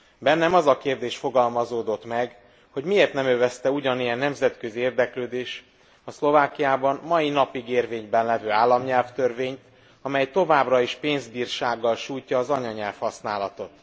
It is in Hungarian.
Bennem az a kérdés fogalmazódott meg, hogy miért nem övezte ugyanilyen nemzetközi érdeklődés a Szlovákiában mai napig érvényben levő államnyelvtörvényt, amely továbbra is pénzbírsággal sújtja az anyanyelv használatot.